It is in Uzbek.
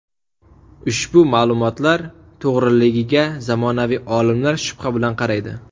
Ushbu ma’lumotlar to‘g‘riligiga zamonaviy olimlar shubha bilan qaraydi.